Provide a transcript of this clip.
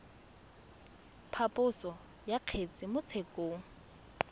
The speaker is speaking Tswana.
phaposo ya kgetse mo tshekong